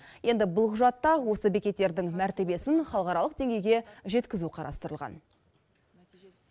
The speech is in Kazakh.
енді бұл құжатта осы бекеттердің мәртебесін халықаралық деңгейге жеткізу қарастырылған